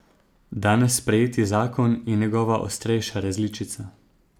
Danes sprejeti zakon je njegova ostrejša različica.